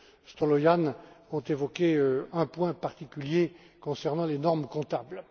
Stolojan ont évoqué un point particulier concernant les normes comptables.